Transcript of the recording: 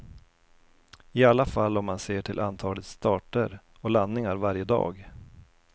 I alla fall om man ser till antal starter och landningar varje dag.